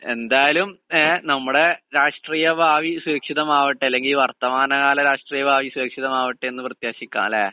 എന്തായാലും ഏഹ് നമ്മടെ രാഷ്ട്രീയഭാവി സുരക്ഷിതമാവട്ടെ അല്ലെങ്കി വർത്തമാനകാല രാഷ്ട്രീയ ഭാവി സുരക്ഷിതമാവട്ടെയെന്ന് പ്രത്യാശിക്കാംല്ലേ?